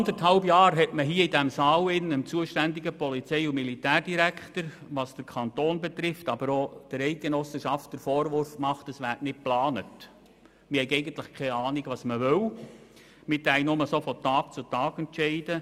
Vor anderthalb Jahren wurde hier im Saal dem zuständigen Polizei- und Militärdirektor aus dem Kanton, aber auch seitens der Eidgenossenschaft der Vorwurf gemacht, es werde nicht geplant, man habe keine Ahnung was man wolle und es würde nur von Tag zu Tag entschieden.